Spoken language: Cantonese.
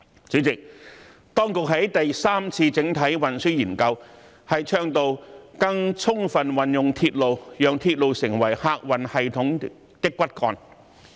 主席，當局在第三次整體運輸研究中倡導，"更充分運用鐵路，讓鐵路成為客運系統的骨幹"。